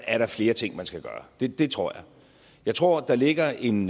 er der flere ting man skal gøre det det tror jeg jeg tror der ligger en